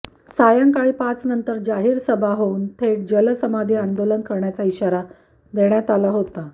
सायंकाळी पाचनंतर जाहीर सभा होऊन थेट जलसमाधी आंदोलन करण्याचा इशारा देण्यात आला होता